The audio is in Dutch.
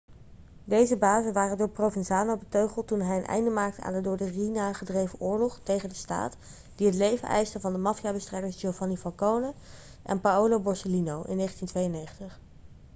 deze bazen waren door provenzano beteugeld toen hij een einde maakte aan de door de riina gedreven oorlog tegen de staat die het leven eiste van de maffiabestrijders giovanni falcone en paolo borsellino in 1992.'